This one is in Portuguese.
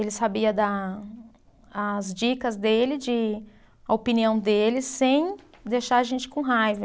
Ele sabia dar as dicas dele de, a opinião dele, sem deixar a gente com raiva.